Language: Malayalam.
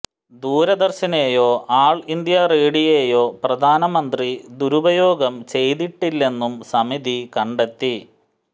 ദൂരദര്ശനെയോ ആള് ഇന്ത്യ റേഡിയോയെയോ പ്രധാനമന്ത്രി ദുരുപയോഗം ചെയ്തിട്ടില്ലെന്നും സമിതി കണ്ടെത്തി